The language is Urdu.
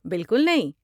بالکل نہیں!